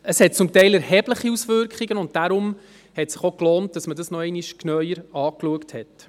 Es hat zum Teil erhebliche Auswirkungen, und deshalb hat es sich gelohnt, dies noch einmal genauer anzuschauen.